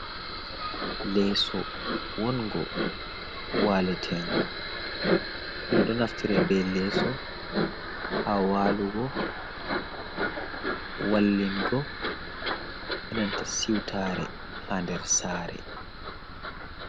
Leeso wongo waletengo ɗum ɗo naftira be leeso ha walugo wallingo enanta siwtare ha nder sare.